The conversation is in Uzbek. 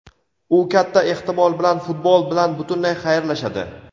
u katta ehtimol bilan futbol bilan butunlay xayrlashadi.